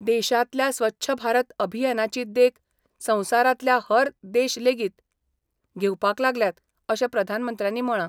देशांतल्या स्वच्छ भारत अभियानाची देख संवसारांतल्या हेंर देश लेगीत घेवपाक लागल्यात अशें प्रधानमंत्र्यानी म्हळां.